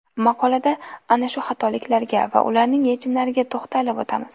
Maqolada ana shu xatoliklarga va ularning yechimlariga to‘xtalib o‘tamiz.